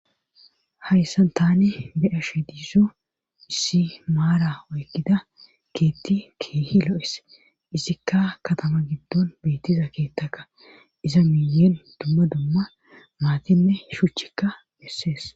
hayssan tani be7ashe diiso issi maara oykkida keetti keehi lo7es isikka katama giddon beettiza keettaka iza miyeen dumma dumma maatinne shuchchikka missees